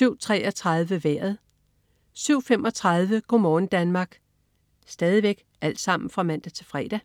(man-fre) 07.33 Vejret (man-fre) 07.35 Go' morgen Danmark (man-fre)